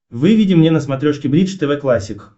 выведи мне на смотрешке бридж тв классик